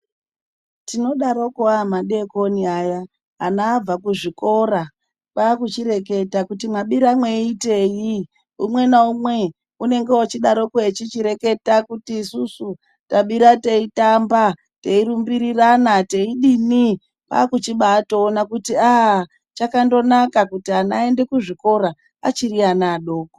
Tinodaroko aa madeekoni aya ana abva kuzvikora, kwaakuchireketa kuti mwabira mweiitei? Umwe naumwe unenge oochidaroko echichireketa kuti isusu tabira teitamba; teirumbirirana; teidini. Kwaakuchibaatoona kuti aa chakandonaka kuti ana aende kuzvikora achiri ana adoko.